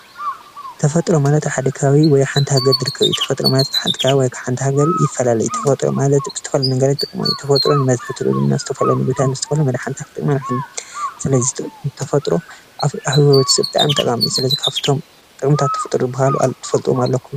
ተፈጥሮ ማለት ኣብ ሓደ ከባቢ ወይ ኣብ ሓንቲ ሃገር ዝርከብ እዩ፡፡ ተፈጥሮ ማለት ካብ ሓንቲ ከባቢ ወይ ካብ ሓንቲ ሃገር ይፈላለ እዩ፡፡ ተፈጥሮ ማለት ዝተፈላለዩ ነገራት ማለት ተፈጥሮን ናይ ተፈጥሮን ናይ ተፈጥሮን ስለዚ ተፈጥሮ ኣብ ህይወት ወዲሰብ ጠቓሚ እዩ፡፡ ስለዚ ካብቶም ጥቅምታት ተፈጥሮ ዝበሃሉ ትፈልጥዎም ኣለኹም ዶ?